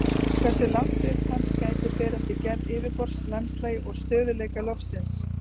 Hversu langt upp hans gætir fer eftir gerð yfirborðs, landslagi og stöðugleika lofsins.